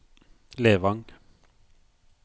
Levang